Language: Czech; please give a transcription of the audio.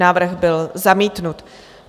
Návrh byl zamítnut.